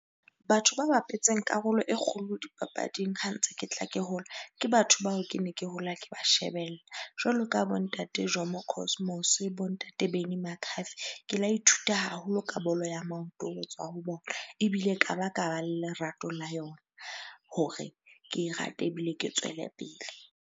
Batho ba bapetseng karolo e kgolo dipapading ha ntse ke tla ke hola, ke batho bao kene ke hola ke ba shebella. Jwalo ka bo Ntate Jomo Cosmos, bo Ntate Benny McCarthy. Ke la ithuta haholo ka bolo ya maoto ho tswa ho bona, ebile ka ba kaba le lerato la yona hore ke e rate ebile ke tswelepele.